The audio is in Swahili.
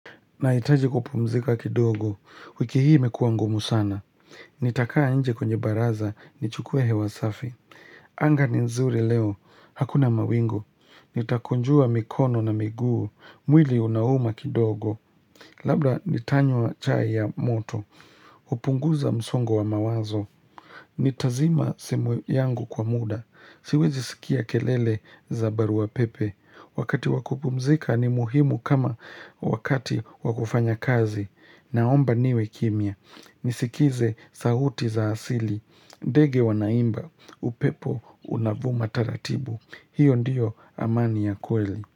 Nahitaji kupumzika kidogo, wiki hii imekuwa ngumu sana. Nitakaa nje kwenye baraza, nichukue hewa safi. Anga ni nzuri leo, hakuna mawingu. Nitakunjua mikono na miguu, mwili unauma kidogo. Labla nitanywa chai ya moto, upunguza msongo wa mawazo. Nitazima simu yangu kwa muda, siwezisikia kelele za barua pepe. Wakati wa kupumzika ni muhimu kama wakati wa kufanya kazi. Naomba niwe kimya Nisikize sauti za asili. Ndege wanaimba upepo unavuma taratibu. Hiyo ndiyo amani ya kweli.